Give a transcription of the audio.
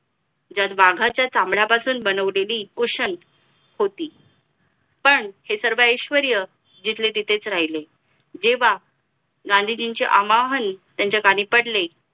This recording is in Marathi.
ज्यात वाघाच्या चामड्यापासून बनवलेली कुशण होती पण हे सर्व ऐश्वर्य जिथले तिथेच राहिले जेव्हा गांधीजींचे आमाहण त्यांच्या कानी पडले